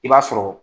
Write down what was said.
I b'a sɔrɔ